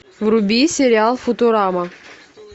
вруби сериал футурама